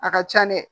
A ka ca dɛ